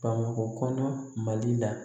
Bamakɔ kɔnɔ mali la